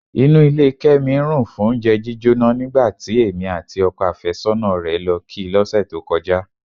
Inú ilé Kẹ́mi rùn fóúnjẹ jíjóná nígbà tí èmi àti ọkọ àfẹ́sọ́nà rẹ̀ lọ kí i lọ́sẹ̀ tó kọjá.